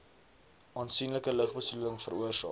aansienlike lugbesoedeling veroorsaak